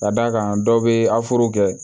Ka d'a kan dɔ bɛ afuru kɛ